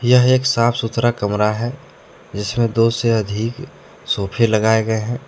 यह एक साफ सुथरा कमरा है जिसमें दो से अधिक सोफे लगाए गए हैं ।